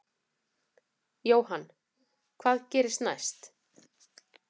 Jóhann: Hvað gerist næst?